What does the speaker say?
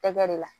Tɛgɛ de la